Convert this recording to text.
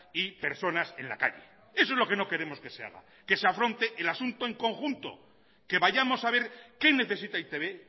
y personas en la calle eso es lo que no queremos que se haga que se afronte el asunto en conjunto que vayamos a ver qué necesita e i te be